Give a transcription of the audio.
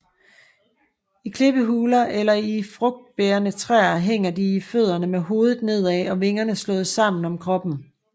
I klippehuler eller i frugtbærende træer hænger de i fødderne med hovedet nedad og vingerne slået sammen om kroppen